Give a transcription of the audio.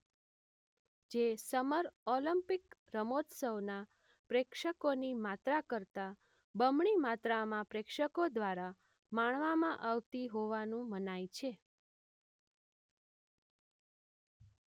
જે summer Olympic રમતોત્સવના પ્રેક્ષકોની માત્રા કરતા બમણી માત્રામાં પ્રેક્ષકો દ્વારા માણવામાં આવતી હોવાનું મનાય છે.